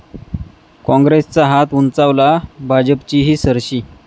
काँग्रेसचा हात उंचावला, भाजपचीही सरशी